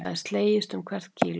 Það er slegist um hvert kíló